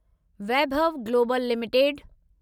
Vaibhav global limited